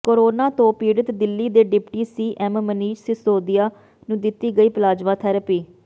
corona ਤੋਂ ਪੀੜਤ ਦਿੱਲੀ ਦੇ ਡਿਪਟੀ ਸੀਐਮ ਮਨੀਸ਼ ਸਿਸੋਦੀਆ ਨੂੰ ਦਿੱਤੀ ਗਈ ਪਲਾਜ਼ਮਾ ਥੈਰੇਪੀ